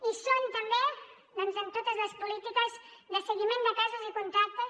hi són també en totes les polítiques de seguiment de casos i contactes